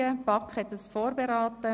Die BaK hat dieses Geschäft vorberaten.